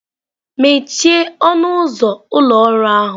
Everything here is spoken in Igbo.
Mechie ọnụ ụzọ ụlọ ọrụ ahụ!